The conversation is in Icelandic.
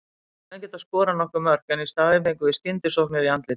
Við hefðum getað skorað nokkur mörk en í staðinn fengum við skyndisóknir í andlitið.